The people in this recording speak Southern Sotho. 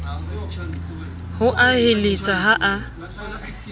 ho a heletsa ha a